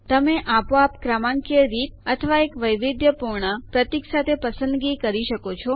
તમે આપોઆપ ક્રમાંકીય રીત અથવા એક વૈવિધ્યપૂર્ણ પ્રતીક વચ્ચે પસંદગી કરી શકો છો